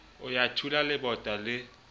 a ya thula lebota le